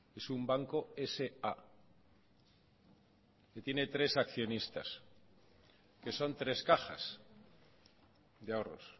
es un banco sa tiene tres accionistas que son tres cajas de ahorros